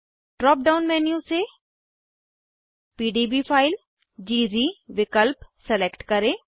drop down menu से PDB file विकल्प select करें